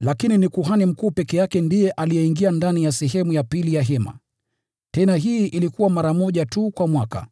Lakini ni kuhani mkuu peke yake aliyeingia ndani ya sehemu ya pili ya hema. Tena hii ilikuwa mara moja tu kwa mwaka,